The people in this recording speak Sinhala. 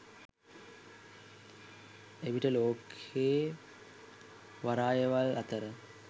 එවිට ලෝකයේ වරායවල් අතර